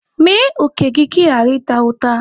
Mee òkè gị ka ị ghara ịta ụta.